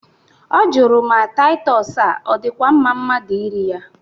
Ọ jụrụ ma Taịtọs a adịkwa mma mmadụ iri ya?